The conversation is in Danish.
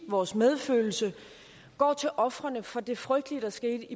vores medfølelse går til ofrene for det frygtelige der skete